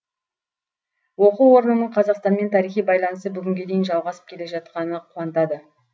оқу орнының қазақстанмен тарихи байланысы бүгінге дейін жалғасып келе жатқаны қуантады